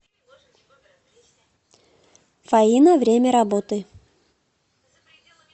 фаина время работы